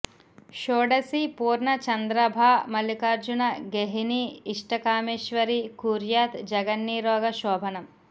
షోడశీ పూర్ణ చంద్రాభా మల్లికార్జున గేహినీ ఇష్టకామేశ్వరీ కుర్యాత్ జగన్నీరోగ శోభనమ్